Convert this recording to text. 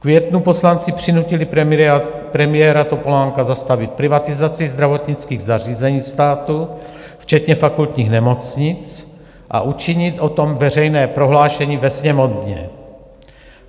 V květnu poslanci přinutili premiéra Topolánka zastavit privatizaci zdravotnických zařízení státu včetně fakultních nemocnic a učinit o tom veřejné prohlášení ve Sněmovně.